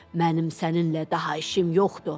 Mənim səninlə daha işim yoxdur.